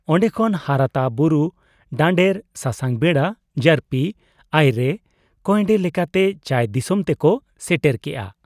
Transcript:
ᱚᱱᱰᱮ ᱠᱷᱚᱱ ᱦᱟᱨᱟᱛᱟ ᱵᱩᱨᱩ ᱰᱟᱱᱰᱮᱨ, ᱥᱟᱥᱟᱝ ᱵᱮᱰᱟ, ᱡᱟᱹᱨᱯᱤ, ᱟᱭᱨᱮ, ᱠᱚᱭᱮᱱᱰᱮ ᱞᱮᱠᱟᱛᱮ ᱪᱟᱹᱭ ᱫᱤᱥᱚᱢ ᱛᱮᱠᱚ ᱥᱮᱴᱮᱨ ᱠᱮᱜ ᱟ ᱾